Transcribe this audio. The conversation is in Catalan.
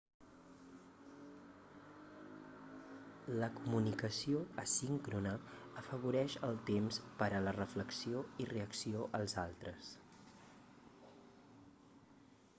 la comunicació asíncrona afavoreix el temps per a la reflexió i reacció als altres